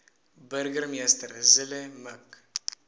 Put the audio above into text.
burgemeester zille mik